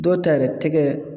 Dɔw ta yɛrɛ tɛgɛ